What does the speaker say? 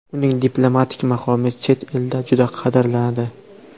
Uning diplomatik maqomi chet elda juda qadrlanadi.